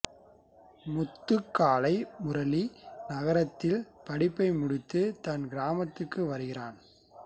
முத்துக்காளை முரளி நகரத்தில் படிப்பை முடித்து தன் கிராமத்திற்கு வருகிறான்